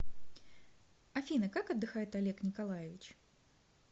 афина как отдыхает олег николаевич